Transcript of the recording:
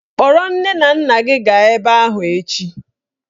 Kpọrọ nne na nna gị gaa ebe ahụ echi!